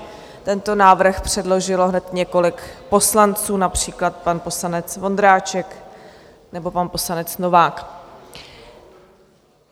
Tento návrh předložilo hned několik poslanců, například pan poslanec Vondráček nebo pan poslanec Novák.